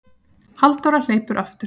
Halldóra hleypur aftur.